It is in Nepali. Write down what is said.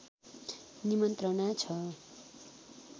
निमन्त्रणा छ